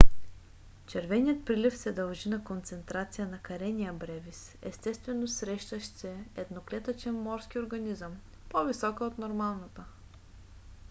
червеният прилив се дължи на концентрация на karenia brevis естествено срещащ се едноклетъчен морски организъм по - висока от нормалната